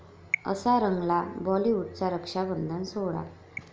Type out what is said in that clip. असा रंगला बाॅलिवूडचा रक्षाबंधन सोहळा